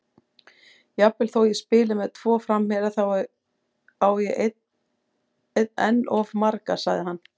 Jafnvel þó ég spili með tvo framherja, þá á ég enn of marga, sagði hann.